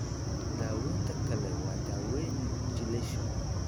Daawaynta kale waa daawaynta chelation.